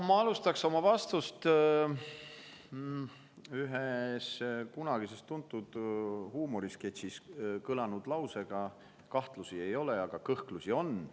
Ma alustan oma vastust ühes kunagises tuntud huumorisketšis kõlanud lausega: kahtlusi ei ole, aga kõhklusi on.